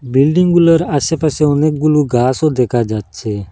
বিল্ডিংগুলোর আসেপাশে অনেকগুলো গাসও দেকা যাচ্ছে।